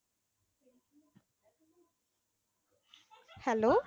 hello